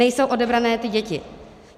Nejsou odebrané ty děti.